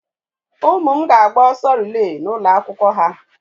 Ụmụ m ga-agba ọsọ rilee n'ụlọ akwụkwọ ha.